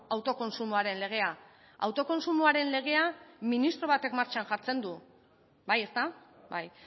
autokontsumoaren legea autokontsumoaren legea ministro batek martxan jartzen du bai ezta bai